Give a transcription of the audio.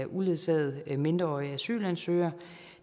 uledsagede mindreårige asylansøgere